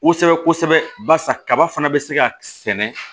Kosɛbɛ kosɛbɛ barisa kaba fana bɛ se ka sɛnɛ